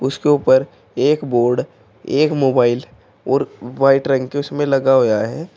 उसके ऊपर एक बोर्ड एक मोबाइल और व्हाइट रंग के उसमें लगा होया है।